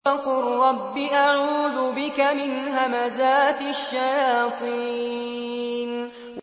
وَقُل رَّبِّ أَعُوذُ بِكَ مِنْ هَمَزَاتِ الشَّيَاطِينِ